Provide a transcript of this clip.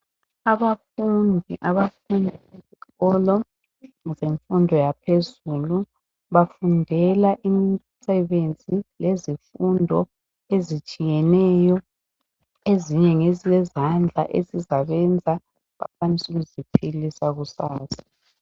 Abafundi abafunda esikolo zemfundo yaphezulu bafundela imisebenzi yezifundo ezitshiyeneyo. Ezinye ngezezandla ezizabenza bakwanise ukuziphilisa kusasa.